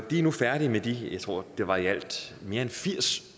er nu færdige med de jeg tror det var i alt mere end firs